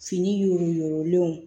Fini yoro yurugulenw